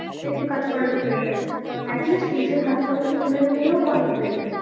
একটু কাজ করাটা better, at least নিজের হাত খরচটা তুলে নিলেও অনেকটাই।